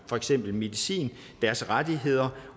for eksempel medicin deres rettigheder